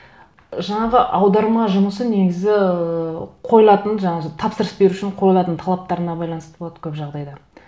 жаңағы аударма жұмысы негізі ыыы қойылатын жаңа тапсырыс берушінің қойылатын талаптарына байланысты болады көп жағдайда